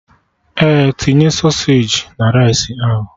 Ee, tinye sausagi na rice ahụ